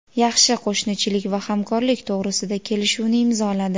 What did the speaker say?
yaxshi qo‘shnichilik va hamkorlik to‘g‘risida kelishuvni imzoladi.